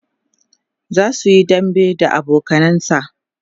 zasuyi dambe da abokanansa